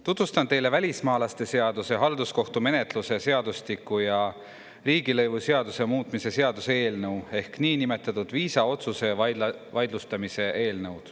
Tutvustan teile välismaalaste seaduse, halduskohtumenetluse seadustiku ja riigilõivuseaduse muutmise seaduse eelnõu ehk niinimetatud viisaotsuse vaidlustamise eelnõu.